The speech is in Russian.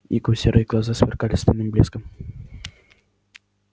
его серые глаза сверкали стальным блеском